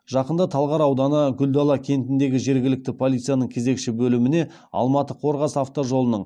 жақында талғар ауданы гүлдала кентіндегі жергілікті полицияның кезекші бөліміне алматы қорғас автожолының